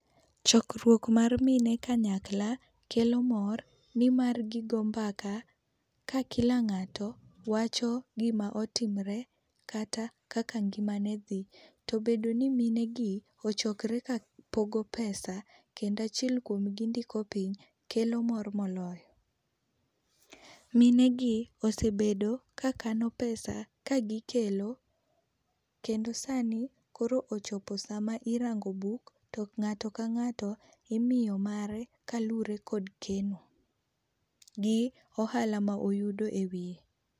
Chokruok mar mine kanyakla kelo mor ni mar gi go mbaka. Ka kila ng'ato wacho gi ma otimre kata kaka ngima ne dhi to obedo ni mine gi ochokre kapogo pesa kendo achiel kuom gi ndiko piny, kelo mor ma oloyo. Mine gi osebedo ka kano pesa ka gi kelo kendo sa ni koro ochopo sa ma irango buk to ng'ato ka ng'ato imiyo mare kalure gi keno kod ohala ma oyudo e wiye.